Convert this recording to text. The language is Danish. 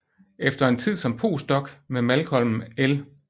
Efter en tid som postdoc med Malcolm L